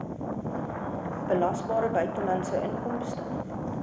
belasbare buitelandse inkomste